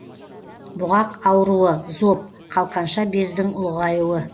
бұғақ ауруы зоб қалқанша бездің ұлғаюы